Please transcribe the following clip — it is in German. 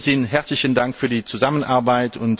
In diesem Sinn herzlichen Dank für die Zusammenarbeit.